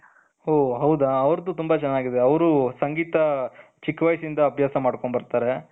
ಓ ಹೌದಾ ಅವರ್ದು ತುಂಬಾ ಚೆನ್ನಾಗಿದೆ ಅವರು ಸಂಗೀತ ಚಿಕ್ಕ ವಯಸ್ಸಿಂದ ಅಭ್ಯಾಸ ಮಾಡ್ಕೊಂಡ್ ಬರ್ತಾರೆ.